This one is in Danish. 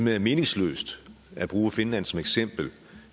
er meningsløst at bruge finland som eksempel